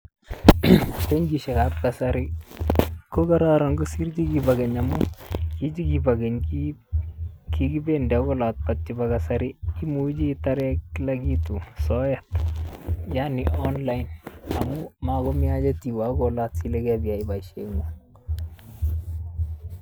Benkisiekab kasari kokararan kosiir chikibo keny amun chikibo keny kikibendi akoi olot lakini chebo kasari imuchi itare kila kitu soet yaani online amun makomi haja tiwe akoi olot sile kapiyai boisiengung.